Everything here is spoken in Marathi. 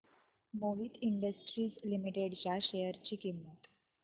मोहित इंडस्ट्रीज लिमिटेड च्या शेअर ची किंमत